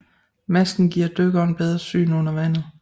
Masken giver dykkeren bedre syn under vandet